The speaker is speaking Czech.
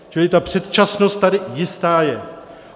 Čili ta předčasnost tady jistá je.